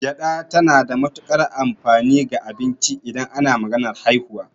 Gyaɗa tana da matukar amfani ga abinci idan ana maganar haihuwa.